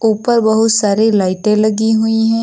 ऊपर बहुत सारी लाइटें लगी हुई है।